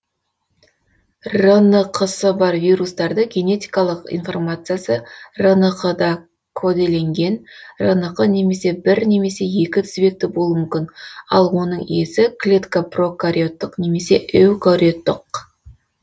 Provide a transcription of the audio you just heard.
рнқ сы бар вирустарды генетикалық информациясы рнқ да коделенген рнқ бір немесе екі тізбекті болуы мүмкін ал оның иесі клетка прокариоттық немесе эукариоттық